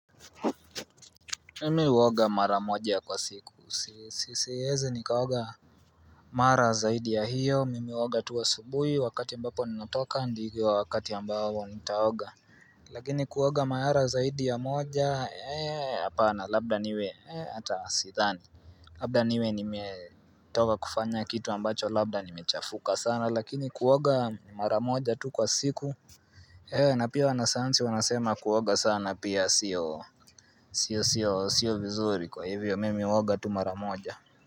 Mimi huoga mara moja kwa siku siwezi nikaoga Mara zaidi ya hiyo mimi huoga tu asubuhi wakati ambapo ninatoka ndivyo wakati ambao nitaoga Lakini kuoga mara zaidi ya moja hapana labda niwe hata sidhani Labda niwe nimetoka kufanya kitu ambacho labda nimechafuka sana lakini kuoga mara moja tu kwa siku na pia wanasanyansi wanasema kuoga sana pia siyo vizuri kwa hivyo mimi huoga tu mara moja.